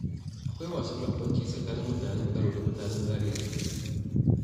Akwai wasan barkwanci a tsakanin mutanen Kano da mutanen Zariya fa